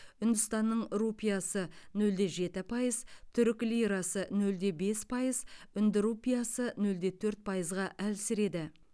үндістанның рупиясы нөл де жеті пайыз түрік лирасы нөл де бес пайыз үнді рупиясы нөл де төрт пайызға әлсіреді